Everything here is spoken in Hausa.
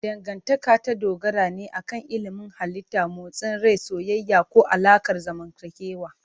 Dangantaka ta dogara ne akan ilimin halitta, motsin rai, soyayya, ko alaƙar zamantakewa.